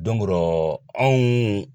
o rɔ anw